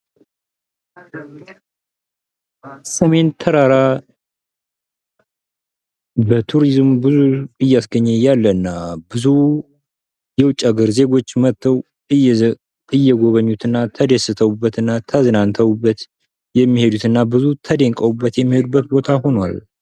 ሰሜን ተራራ በቱሪዝም ብዙ እያስገኜ ያለ እና ብዙ የውጭ ሀገር ዜጎች መጥተው እየጎበኙትና ተዝናንተበት ብዙ ተደንቀውበት የሚሄዱበት ቦታ ሆኗል።